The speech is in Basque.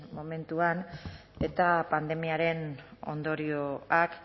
momentuan eta pandemiaren ondorioak